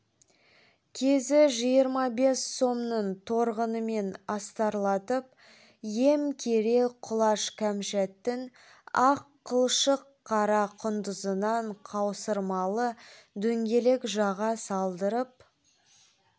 кезі жиырма бес сомның торғынымен астарлатып ем кере құлаш қамшаттың ақ қылшық қара құндызынан қаусырмалы дөңгелек жаға салдырып